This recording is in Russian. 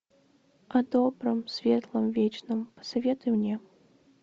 о добром светлом вечном посоветуй мне